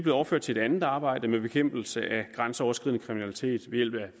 overført til et andet arbejde med bekæmpelse af grænseoverskridende kriminalitet ved hjælp af